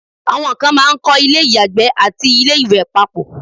àwọn kan máà ń kọ́ ilé ìyàgbẹ́ àti ilé ìwẹ̀ papọ̀